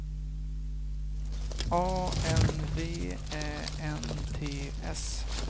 A N V Ä N T S